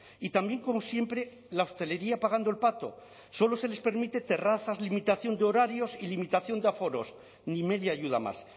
y también como siempre la hostelería pagando el pato solo se les permite terrazas limitación de horarios y limitación de aforos ni media ayuda más